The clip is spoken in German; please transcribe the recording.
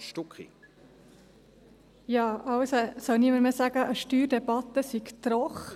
Es soll niemand mehr sagen, eine Steuerdebatte sei trocken.